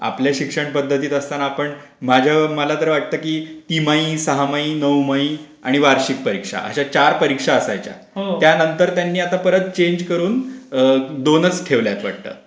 आपल्या शिक्षण पध्दतीत असताना आपण मला तर वाटते की तिमाही, सहमाहि, नौमही आणि वार्षिक परीक्षा अशा चार परीक्षा असायच्या. त्यानंतर त्यांनी आता परत चेंज करून दोनच ठेवल्यात वाटतं.